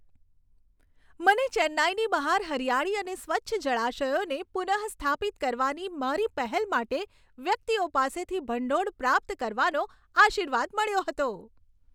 મને ચેન્નાઈની બહાર હરિયાળી અને સ્વચ્છ જળાશયોને પુનઃસ્થાપિત કરવાની મારી પહેલ માટે વ્યક્તિઓ પાસેથી ભંડોળ પ્રાપ્ત કરવાનો આશીર્વાદ મળ્યો હતો.